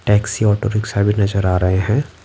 Taxi auto rickshaw भीनजर आ रहे हैं।